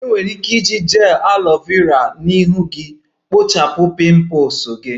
Ị nwere ike iji gel aloe Vera na ihu gị kpochapụ pimples gị